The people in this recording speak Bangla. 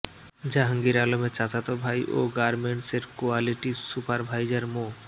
জাহাঙ্গীর আলমের চাচাতো ভাই ও গার্মেন্টসের কোয়ালিটি সুপারভাইজার মো